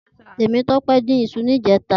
Temitope din iṣú nijètá